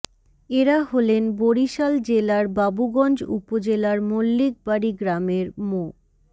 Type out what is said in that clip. এরা হলেন বরিশাল জেলার বাবুগঞ্জ উপজেলার মল্লিক বাড়ি গ্রামের মো